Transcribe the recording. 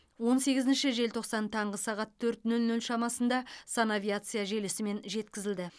он сегізінші желтоқсан таңғы сағат төрт нөл нөл шамасында санавиация желісімен жеткізілді